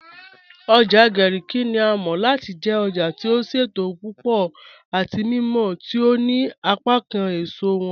Ojá Garki ni à mọ̀ láti jẹ̀ òjá tí ó ṣétò púpọ̀ àti mímọ̀ tí ó ní apákán èṣọ wọn